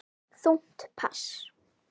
Þungt pass.